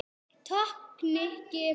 Takk, Nikki